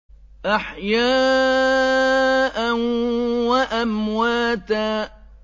أَحْيَاءً وَأَمْوَاتًا